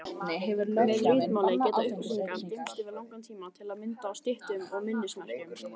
Með ritmáli geta upplýsingar geymst yfir langan tíma, til að mynda á styttum og minnismerkjum.